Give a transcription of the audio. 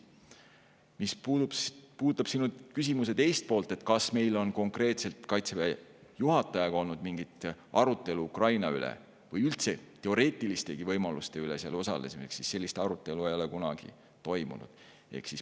Mis puudutab sinu küsimuse teist poolt, kas meil on konkreetselt Kaitseväe juhatajaga olnud mingit arutelu Ukraina teemal või üldse teoreetilistegi võimaluste üle seal osalemiseks, siis ütlen, et sellist arutelu ei ole kunagi toimunud.